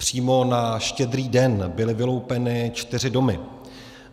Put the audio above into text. Přímo na Štědrý den byly vyloupeny čtyři domy.